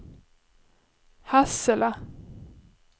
Hassela